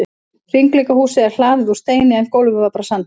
Hringleikahúsið er hlaðið úr steini en gólfið var bara sandur.